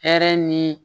Hɛrɛ ni